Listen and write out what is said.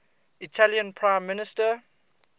italian prime minister